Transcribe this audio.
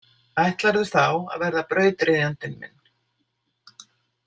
Ætlarðu þá að verða brautryðjandinn minn?